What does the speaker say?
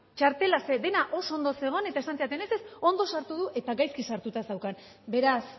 txartela zer dena oso ondo zegoen eta esan zidaten ez ez ondo sartu du eta gaizki sartuta zeukan beraz